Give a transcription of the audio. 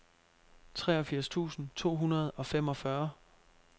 treogfirs tusind to hundrede og femogfyrre